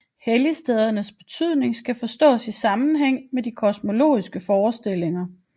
Helligstedernes betydning skal forstås i sammenhæng med de kosmologiske forestillinger